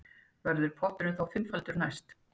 Verður potturinn því fimmfaldur næst